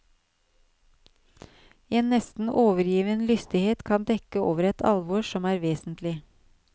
En nesten overgiven lystighet kan dekke over et alvor som er vesentlig.